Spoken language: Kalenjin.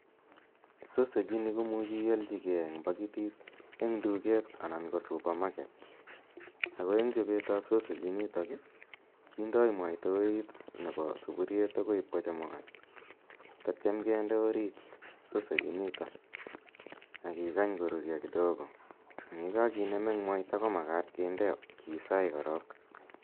Sausage ini ko muchi ialchigei eng' pakitit eng' duket anan kp supermarket, ako eng' chopet ap sausage initok i, kindai mwaita orit nepo sapuriet orit akoi ipkochekukan tetya kinde sausage initok orit ak kikany korurya kidogo. Ang' ye kakinem eng' mwaita ko makat kinde, kisaai korok.